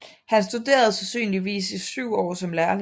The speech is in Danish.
Han studerede sandsynligvis i syv år som lærling